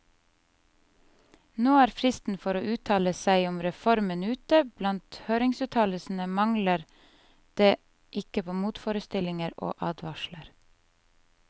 Nå er fristen for å uttale seg om reformen ute, og blant høringsuttalelsene mangler det ikke på motforestillinger og advarsler.